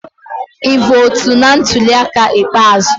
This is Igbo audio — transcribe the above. Ị votu na ntuli aka ikpeazụ?